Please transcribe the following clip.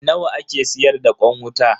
Nawa ake siyar da kwan wuta?